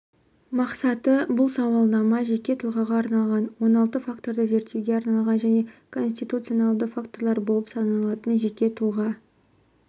мақсаты бұл сауалнама жеке тұлғаға арналған он алты факторды зерттеуге арналған және конституционалды факторлар болып саналатын жеке тұлға